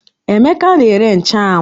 Emeka na-ere nchụ́anwu